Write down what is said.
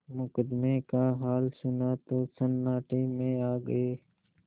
मुकदमे का हाल सुना तो सन्नाटे में आ गये